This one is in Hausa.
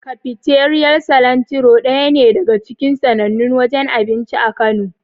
Kafiteriyar Silantiro daya ne daga cikin sannannun wajen abinci a Kano.